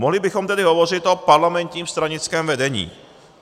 Mohli bychom tedy hovořit o parlamentním stranickém vedení.